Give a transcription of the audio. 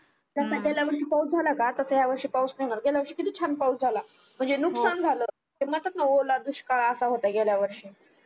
जस गेल्या वर्षी पाऊस झाला का तसा या वर्षी नाही पण गेल्या वर्षी कीती छान पाऊस झाला म्हणजे नुकसान झाल ते म्हणतात ना ओला दुष्काळ असा होता गेल्या वर्षी